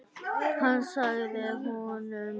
Hann sagði honum það.